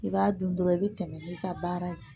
I b'a dun dɔrɔn i bɛ tɛmɛ n'i ka baara ye